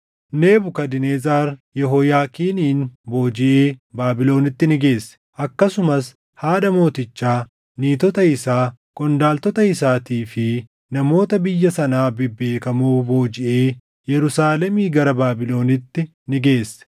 Nebukadnezar Yehooyaakiinin boojiʼee Baabilonitti ni geesse. Akkasumas haadha mootichaa, niitota isaa, qondaaltota isaatii fi namoota biyya sanaa bebbeekamoo boojiʼee Yerusaalemii gara Baabilonitti ni geesse.